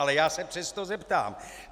Ale já se přesto zeptám.